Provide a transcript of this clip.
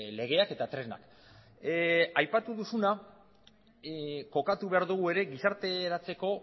legeak eta tresnak aipatu duzuna kokatu behar dugu ere gizarte eratzeko